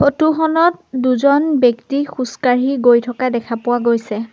Photo খনত দুজন ব্যক্তি খোজকাঢ়ি গৈ থকা দেখা পোৱা গৈছে।